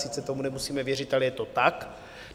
Sice tomu nemusíme věřit, ale je to tak.